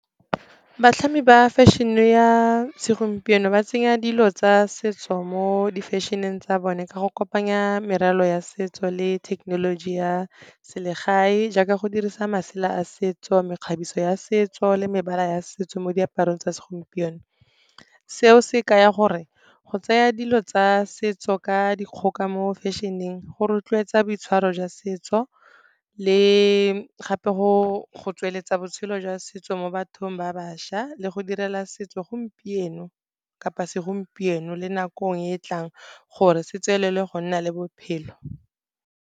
Batlhami ba fashion-e ya segompieno ba tsenya dilo tsa setso mo di-fashion-eng tsa bone ka go kopanya meralo ya setso le thekenoloji ya selegae, jaaka go dirisa masela a setso, mekgabiso ya setso le mebala ya setso mo diaparong tsa segompieno. Seo se ka ya gore go tseya dilo tsa setso ka dikgoka mo fashion-eng go rotloetsa boitshwaro jwa setso, le gape go tsweletsa botshelo jwa setso mo bathong ba bašwa le go direla setso gompieno kapa segompieno le nakong e e tlang gore se tswelele go nna le bophelo.